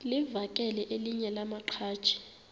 livakele elinye lamaqhaji